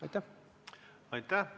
Aitäh!